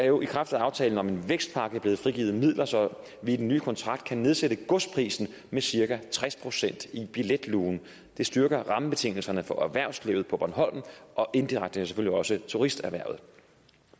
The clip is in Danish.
jo i kraft af aftalen om en vækstpakke blevet frigivet midler så vi i den nye kontrakt kan nedsætte godsprisen med cirka tres procent i billetlugen det styrker rammebetingelserne for erhvervslivet på bornholm og indirekte selvfølgelig også turisterhvervet